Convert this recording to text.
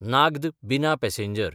नाग्द–बिना passenger